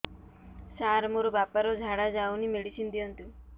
ସାର ମୋର ବାପା ର ଝାଡା ଯାଉନି ମେଡିସିନ ଦିଅନ୍ତୁ